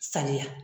Saniya